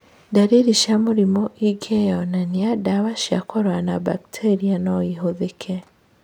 Ndariri cia mũrimũ ingĩyonanania, ndawa cia kũrũa na mbakteria noihũthĩke